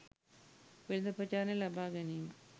වෙළඳ ප්‍රචාරණයක් ලබා ගැනීමයි